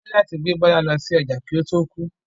Wọ́n ní láti gbé Bọ́lá lọ sí ọjà kí ó tó kú.